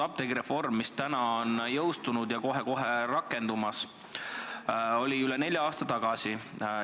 Apteegireform, mille seadus on jõustunud ja kohe-kohe rakendumas, otsustati üle nelja aasta tagasi.